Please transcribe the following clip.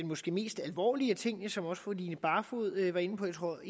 måske mest alvorlige ting som også fru line barfod var inde på jeg tror